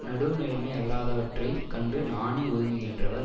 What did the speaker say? நடுவுநிலைமை அல்லாதவற்றைக் கண்டு நாணி ஒதுங்குகின்றவர்